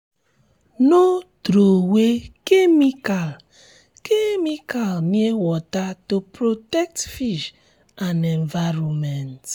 no throwey chemical chemical near water to protect fish and environment